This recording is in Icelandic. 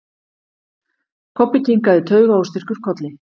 Kobbi kinkaði taugaóstyrkur kolli.